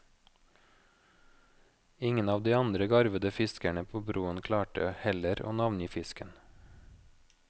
Ingen av de andre garvede fiskerne på broen klarte heller å navngi fisken.